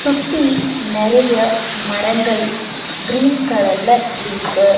சுத்தி நெறைய மரங்கள் கிரீன் கலர்ல இருக்கு.